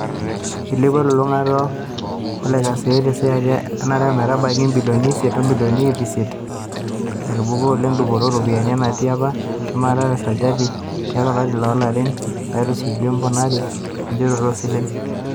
Eilepuo elolungata olekosiayio tesajati e are ometabaiki ibilioni isiet omilioni iip isiet, naitubuluo oleng dupoto oo ropiyiani, enatii apa shumata tesajati eile tiatu olari o lari natisujua emponaroto enjooroto oo silen.